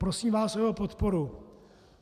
Prosím vás o jeho podporu.